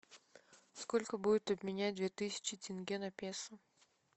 сколько будет обменять две тысячи тенге на песо